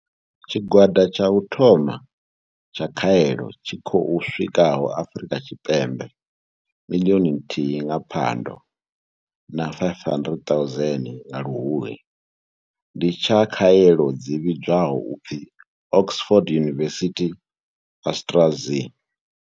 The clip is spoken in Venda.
Tshigwada tsha u thoma tsha khaelo tshi khou swikaho Afrika Tshipembe miḽioni nthihi nga Phando na 500 000 nga Luhuhi ndi tsha khaelo dzi vhidzwaho u pfi Oxford University-AstraZ.